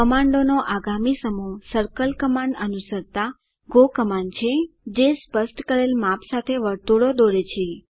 કમાન્ડોનો આગામી સમૂહ circle command અનુસરતા ગો કમાન્ડ છે જે સ્પષ્ટ કરેલ માપ સાથે વર્તુળો દોરે છે